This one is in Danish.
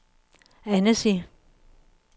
Annecy